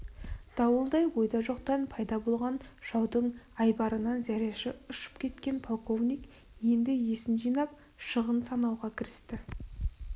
дауылдай ойда жоқтан пайда болған жаудың айбарынан зәресі ұшып кеткен полковник енді есін жинап шығын санауға кірісті